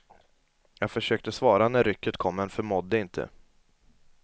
Jag försökte svara när rycket kom, men förmådde inte.